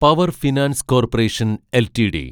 power finance corporation LTD